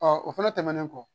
o fɛnɛ tɛmɛnen kɔ